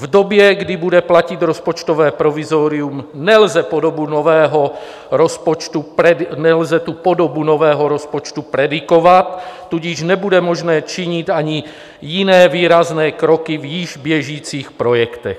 V době, kdy bude platit rozpočtové provizorium, nelze podobu nového rozpočtu predikovat, tudíž nebude možné činit ani jiné výrazné kroky v již běžících projektech.